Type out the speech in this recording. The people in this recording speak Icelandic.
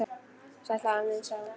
Sæll afi minn sagði hún.